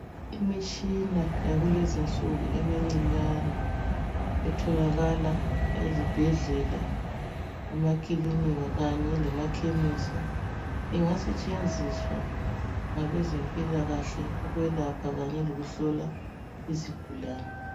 Imitshina yakulezi nsuku emincinyane etholakala ezibhedlela kumakilinika kanye lema khemisi ingasentshenziswa ngabe zempilakahle ukwelapha Kanye lokuhlola izigulani.